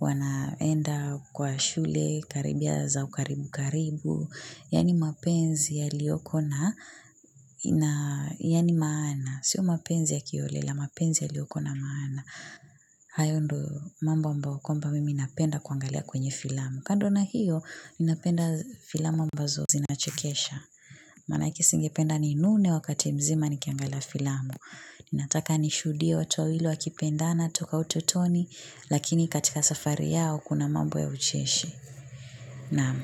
wanaenda kwa shule, karibia za ukaribu karibu, yaani mapenzi yaliyoko na, yaani maana sio mapenzi ya kiholela mapenzi yaliyokuwa na maana hayo ndio mambo ambayo kwamba napenda kuangalia kwa filamu kando na hiyo, ninapenda filamu ambazo zinachekesha. Manake singependa ninune wakati mzima nikiangalia filamu. Ninataka nishuhudie watu wawili wakipendana toka utotoni, lakini katika safari yao kuna mambo ya ucheshi. Naam.